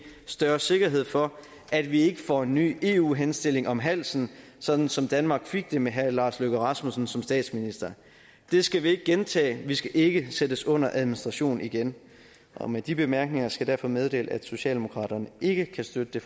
større sikkerhed for at vi ikke får en ny eu henstilling om halsen sådan som danmark fik det med herre lars løkke rasmussen som statsminister det skal vi ikke gentage vi skal ikke sættes under administration igen med de bemærkninger skal jeg derfor meddele at socialdemokraterne ikke kan støtte